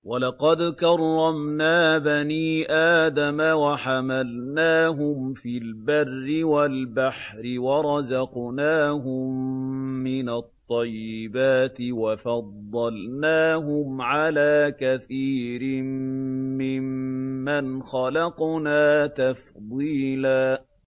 ۞ وَلَقَدْ كَرَّمْنَا بَنِي آدَمَ وَحَمَلْنَاهُمْ فِي الْبَرِّ وَالْبَحْرِ وَرَزَقْنَاهُم مِّنَ الطَّيِّبَاتِ وَفَضَّلْنَاهُمْ عَلَىٰ كَثِيرٍ مِّمَّنْ خَلَقْنَا تَفْضِيلًا